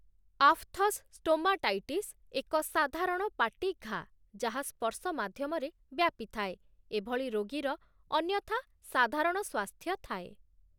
Aphthous stomatitis ଏକ ସାଧାରଣ ପାଟି ଘାଆ, ଯାହା ସ୍ପର୍ଶ ମାଧ୍ୟମରେ ବ୍ୟାପିଥାଏ, ଏ ଭଳି ରୋଗୀର ଅନ୍ୟଥା ସାଧାରଣ ସ୍ୱାସ୍ଥ୍ୟ ଥାଏ ।